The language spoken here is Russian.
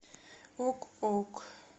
ок ок